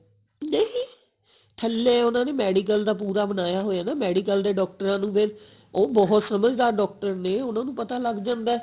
ਨਹੀਂ ਥੱਲੇ ਉਹਨਾਂ ਨੇ medical ਦਾ ਪੂਰਾ ਬਣਾਇਆ ਹੋਇਆ ਹੈ ਨਾ medical ਆ ਦੇ ਡਾਕਟਰਾਂ ਨੂੰ ਵੀ ਉਹ ਬਹੁਤ ਸਮਝਡਾਰ doctor ਨੇ ਉਹਨਾਂ ਨੂੰ ਪਤਾ ਲਗ ਜਾਂਦਾ